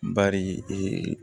Bari